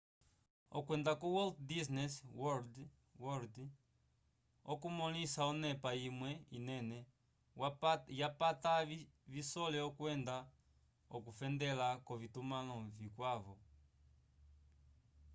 okwenda ko walt disney world okumõlisa onepa imwe inene yapata visole okwenda k'okufendela k'ovitumãlo vikwavo